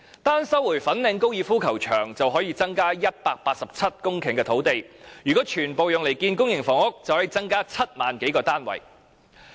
單是收回粉嶺高爾夫球場，便可以增加187公頃土地，如果全部用來興建公營房屋，便可以增加7萬多個單位。